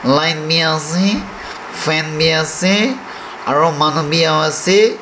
ase fan bi ase aro manu bi ase.